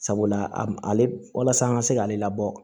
Sabula ale walasa an ka se k'ale labɔ